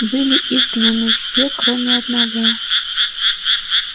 были изгнаны все кроме одного